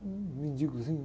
Um mendigozinho.